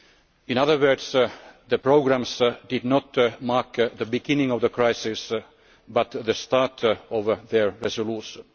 In other words, the programmes did not mark the beginning of the crises, but rather the start of their resolution.